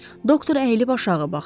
Doktor əyilib aşağı baxdı.